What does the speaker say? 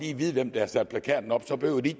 kan vide hvem der har sat plakaten op så behøver de